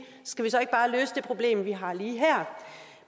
skal vi så ikke bare løse det problem vi har lige her